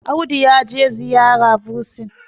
Audu ya je ziyara bursin